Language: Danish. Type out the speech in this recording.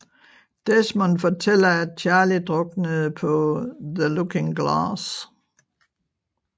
Desmond fortæller at Charlie druknede på The Looking Glass